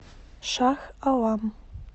шах алам